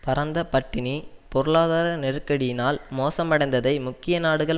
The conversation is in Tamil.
பரந்தபட்டினி பொருளாதார நெருக்கடியினால் மோசமடைந்ததை முக்கிய நாடுகள்